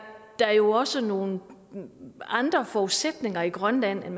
der jo også nogle andre forudsætninger i grønland